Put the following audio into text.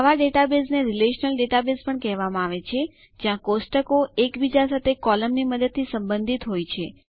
આવા ડેટાબેઝ ને relational database પણ કહેવામાં આવે છે જ્યાં કોષ્ટકો એકબીજા સાથે કૉલમની મદદથી સંબંધિત હોય છે